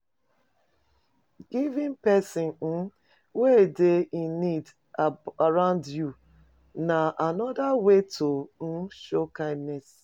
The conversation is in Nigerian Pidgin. Giving persin um wey de in need around you na another way to um show kindness